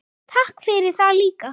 Takk fyrir það líka.